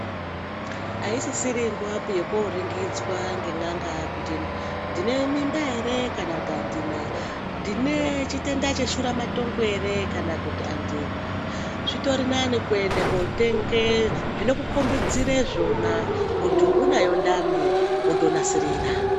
Aisisiri nguvapi yekuoringidzwa ngen'anga kuti ndine mimba here kana kuti handina. Ndine chitenda cheshuramatongo here kana kuti handina. Zvitori nani kuende kuotenge zvinokukombidzire zvona, kuti unayo ndani, wotonasirira.